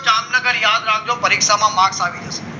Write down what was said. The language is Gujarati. જામનગર યાદ રાખજો પરીક્ષામાં marks આવી જશે